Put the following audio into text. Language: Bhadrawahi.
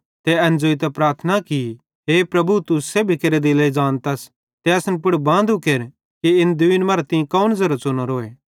ते एन ज़ोइतां प्रार्थना की हे प्रभु तू सेब्भी केरे दिले ज़ानतस ते असन पुड़ बांदू केर कि इन दुईन मां तीं कौन ज़ेरो च़ुनोरोए